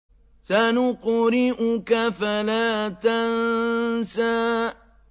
سَنُقْرِئُكَ فَلَا تَنسَىٰ